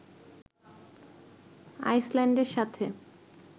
আইসল্যান্ডের সাথে